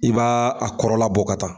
I b'a a kɔrɔla bɔ ka taa.